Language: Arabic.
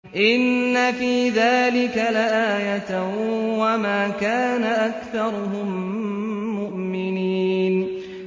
إِنَّ فِي ذَٰلِكَ لَآيَةً ۖ وَمَا كَانَ أَكْثَرُهُم مُّؤْمِنِينَ